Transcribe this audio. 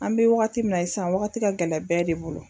An bɛ waagati min na i sisan waagati ka gɛlɛ bɛɛ de bolo.